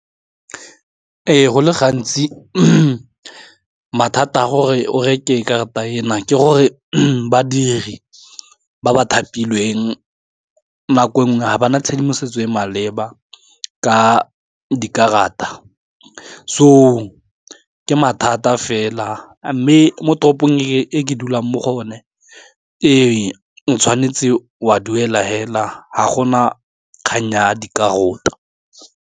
Ee, go le gantsi mathata a gore o reke karata ena ke gore badiri ba ba thapilweng nako nngwe ga bana tshedimosetso e e maleba ka di karata so ke mathata fela mme mo toropong e ke dulang mo go yo ne o tshwanetse wa duela fela ga gona kganya di karota.